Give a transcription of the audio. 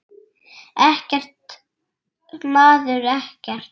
Ekkert, maður, ekkert.